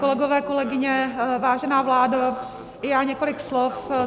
Kolegyně, kolegové, vážená vládo, já několik slov.